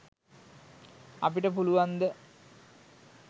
අපිට පුලුවන්ද?